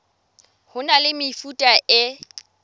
ho na le mefuta e